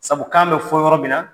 Sabu kan bɛ fɔ yɔrɔ min na